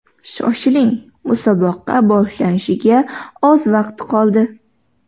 Shoshiling, musobaqa boshlanishiga oz vaqt qoldi.